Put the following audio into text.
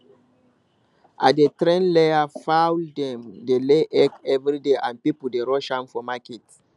i dey train layer fowldem dey lay egg every day and people dey rush dem for market